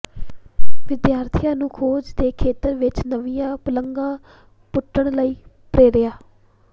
ਵਿਦਿਆਰਥੀਆਂ ਨੂੰ ਖੋਜ ਦੇ ਖੇਤਰ ਵਿੱਚ ਨਵੀਆਂ ਪੁਲਾਂਘਾਂ ਪੁੱਟਣ ਲਈ ਪ੍ਰੇਰਿਆ